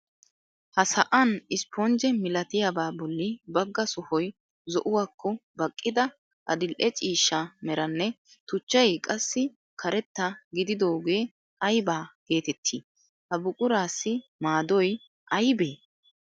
Ha sa'an isponjje milatiyabaa bolli bagga sohoy zo"uwakko baqqida adil"e ciishsha meranne tuchchay qassi karetta gididoogee ayba geetettii? Ha buquraassi maadoy aybee?